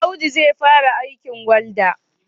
Audu zai fara aikin walda?